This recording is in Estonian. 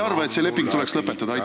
Aitäh küsimuse eest!